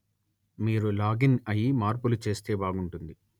మీరు లాగిన్ అయి మార్పులు చేస్తే బాగుంటుంది